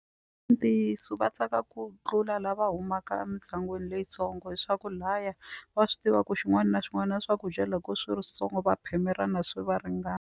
I ntiyiso va tsaka ku tlula lava humaka emindyangwini leyitsongo hi swa ku lahaya va swi tiva ku swin'wana na swin'wana swakudya loko swi ri switsongo va phemelana swi va ringana.